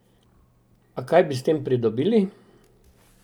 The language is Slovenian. A kaj bi s tem pridobili?